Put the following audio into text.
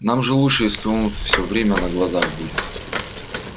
нам же лучше если он все время на глазах будет